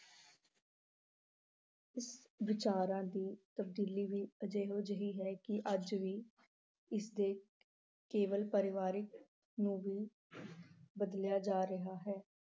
ਵਿਚਾਰਾਂ ਦੀ ਤਬਦੀਲੀ ਵੀ ਇਹੋ ਜਿਹੀ ਹੈ ਕਿ ਅੱਜ ਵੀ ਇਸ ਦੇ ਕੇਵਲ ਪਰਿਵਾਰਕ ਨੂੰ ਵੀ ਬਦਲਿਆ ਜਾ ਰਿਹਾ ਹੈ।